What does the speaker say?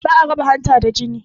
Ba a raba hanta da jini